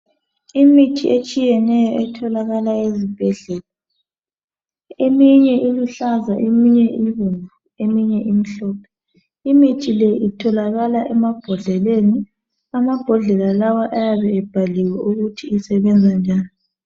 Imithi etshiyeneyo etholakala ezibhedlela eminye iluhlaza eminye ibomvu eminye imhlophe imithi le itholakala emabhodleleni amabhodlela lawa ayabe ebhaliwe ukuthi isebenza njani.